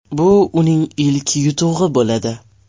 Bu uning ilk yutug‘i bo‘ladi.